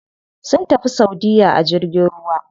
Sun tafi saudiya a jirgin ruwa.